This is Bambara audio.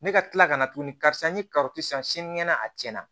Ne ka tila ka na tuguni karisa ni karitɔn san sinikɛnɛ a tiɲɛna